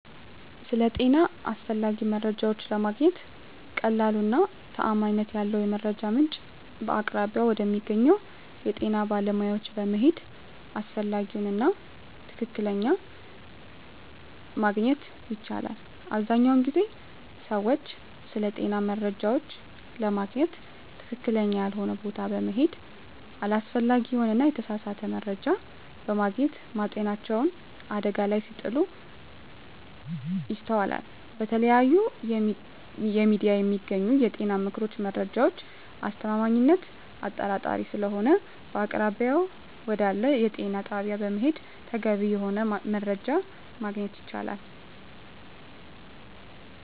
ስለ ጤና አስፈላጊ መረጃዎች ለማግኘት ቀላሉ እና ተአማኒነት ያለው የመረጃ ምንጭ በአቅራቢያው ወደሚገኘው የጤና ባለሙያዎች በመሄድ አስፈላጊውን እና ትክክለኛ ማግኝት ይቻላል አብዛኛውን ጊዜ ግን ሰወች ስለጤና መረጃዎች ለማግኝት ትክክለኛ ያልሆነ ቦታ በመሔድ አላስፈላጊ የሆነ እና የተሳሳተ መረጃ በማግኘት ማጤናቸውን አደጋ ላይ ሲጥሉ ይስተዋላል በተለያዩ የሚዲያ የሚገኙ የጤና ምክሮች መረጃዎች አስተማማኝነት አጣራጣሪ ሰለሆነ በአቅራቢያው ወደአለ የጤና ጣቢያ በመሔድ ተገቢ የሆነውን መረጃ ማግኘት የቻላል ማለት።